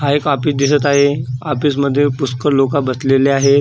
हा एक ऑफिस दिसत आहे ऑफिस मध्ये पुष्कळ लोक बसलेलीआहे .